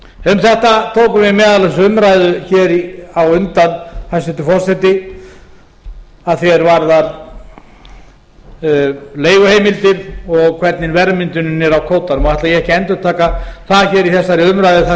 um þetta tókum við meðal annars umræðu hér á undan hæstvirtur forseti að því er varðar leiguheimildir og hvernig verðmyndunin er á kvótanum og ætla ég ekki að endurtaka það hér í þessari umræðu þar